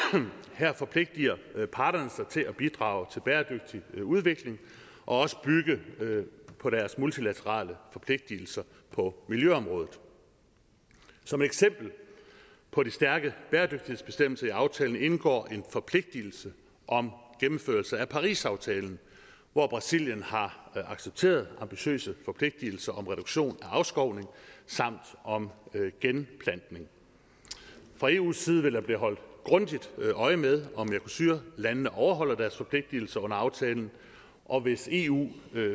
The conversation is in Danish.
her forpligter parterne sig til at bidrage til bæredygtig udvikling og også bygge på deres multilaterale forpligtelser på miljøområdet som eksempel på de stærke bæredygtighedsbestemmelser i aftalen indgår en forpligtelse om gennemførelse af parisaftalen hvor brasilien har accepteret ambitiøse forpligtelser om reduktion af afskovning samt om genplantning fra eus side vil der blive holdt grundigt øje med om mercosur landene overholder deres forpligtelser under aftalen og hvis eu